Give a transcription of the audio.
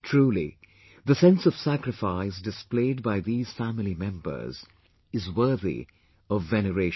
Truly, the sense of sacrifice displayed by these family members is worthy of veneration